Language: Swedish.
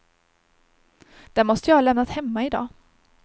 Den måste jag ha lämnat hemma i dag.